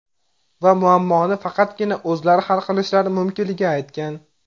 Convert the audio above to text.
Va muammoni faqatgina o‘zlari hal qilishlari mumkinligini aytgan.